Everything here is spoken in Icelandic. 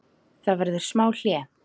Það verður smá hlé.